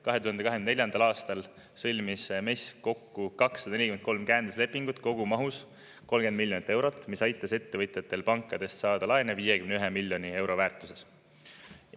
2024. aastal sõlmis MES kokku 243 käenduslepingut kogumahus 30 miljonit eurot, mis aitas ettevõtjatel pankadest saada laene 51 miljoni euro väärtuses.